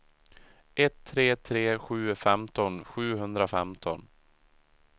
ett tre tre sju femton sjuhundrafemton